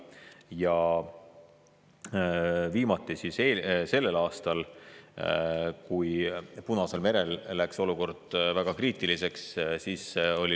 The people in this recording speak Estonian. Ja viimati kasutasime seda sellel aastal, kui Punasel merel läks olukord väga kriitiliseks.